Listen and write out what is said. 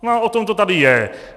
No a o tom to tady je.